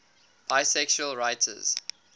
bisexual writers